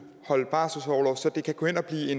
lige